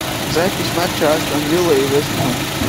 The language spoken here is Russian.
запись матча астон вилла и вест хэм